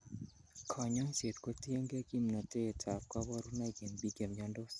Konyoiset kotiengei kimnotetab koborunoik en biik chemiondos.